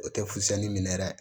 O tɛ fusɛni minɛ yɛrɛ